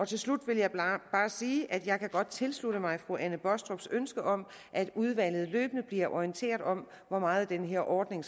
til slut vil jeg bare sige at jeg godt kan tilslutte mig fru anne baastrups ønske om at udvalget løbende bliver orienteret om hvor meget den her ordning